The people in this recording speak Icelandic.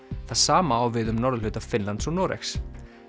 það sama á við um norðurhluta Finnlands og Noregs